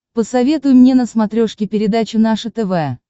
посоветуй мне на смотрешке передачу наше тв